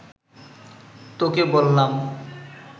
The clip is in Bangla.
তোকে বললাম